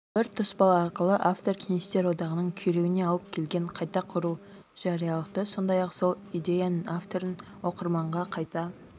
бір тұспал арқылы автор кеңестер одағының күйреуіне алып келген қайта құру жариялылықты сондай-ақ сол идеяның авторын оқырманға қайта